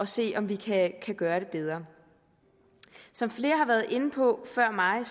se om vi kan gøre det bedre som flere har været inde på før mig